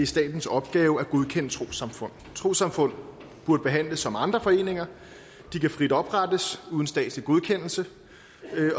statens opgave at godkende trossamfund trossamfund burde behandles som andre foreninger de kan frit oprettes uden statslig godkendelse